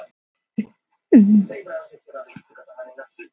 Hún sýnir tíu myndir á mínútu svo þetta rennur í gegn á hundrað mínútum.